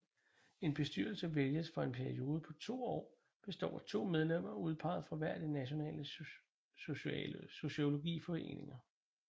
En bestyrelse vælges for en periode på to år består af to medlemmer udpeget fra hver af de nationale sociologiforeninger